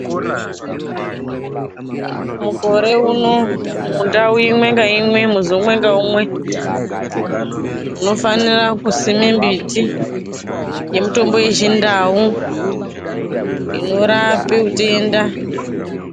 Mukore uno mundau imwengaimwe muzi umwe ngaumwe unofanire kusime mbiti yemutombo wechindau inorape utenda.